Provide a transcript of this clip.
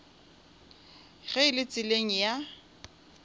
ge e le tseleng ya